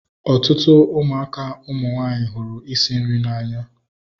Ọtụtụ ụmụaka ụmụ nwanyị hụrụ isi nri n'anya